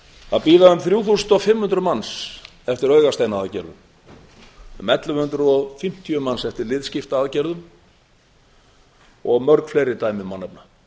það bíða um þrjú þúsund og fimm hundruð manns eftir aðgerðum í augasteinaaðgerðum um ellefu hundruð og fimmtíu manns eftir liðskiptaaðgerðum og mörg fleiri dæmi má nefna